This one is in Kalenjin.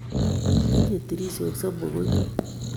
Tinyei tirishok somok konyu